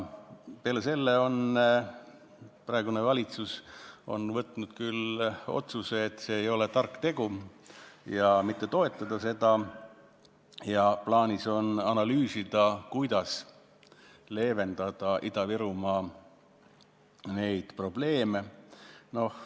Peale selle on praegune valitsus võtnud vastu küll otsuse, et see ei ole tark tegu, ja on otsustanud seda mitte toetada, aga plaanis on analüüsida, kuidas leevendada Ida-Virumaa probleeme.